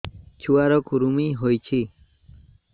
ଛୁଆ ର କୁରୁମି ହୋଇଛି